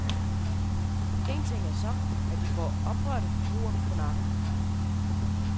En ting er så, at de får oprørte forbrugere på nakken.